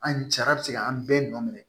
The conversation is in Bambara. An jara bɛ se ka an bɛɛ nɔ minɛ